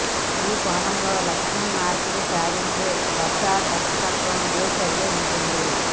ఈ కోణంలో లక్ష్యం మార్పిడి సాధించే వద్ద దర్శకత్వం ఏ చర్య ఉంటుంది